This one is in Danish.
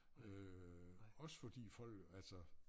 Øh også fordi folk altså